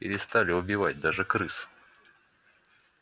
перестали убивать даже крыс